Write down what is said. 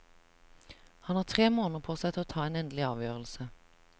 Han har tre måneder på seg til å ta en endelig avgjørelse.